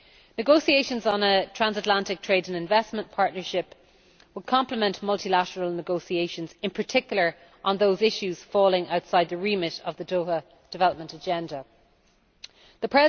Negotiations on a Transatlantic Trade and Investment Partnership would complement multilateral negotiations, in particular on those issues falling outside the remit of the Doha Development Agenda The